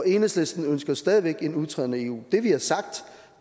enhedslisten stadig væk ønsker en udtræden af eu det vi har sagt